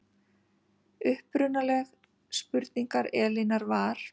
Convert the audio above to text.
Upprunaleg spurning Elínar var